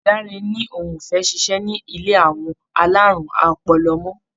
Dáre ni òun ò fẹ́ ṣiṣẹ́ ní ilé àwọn alárùn ọpọlọ mọ́.